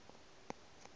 ye ga ke re o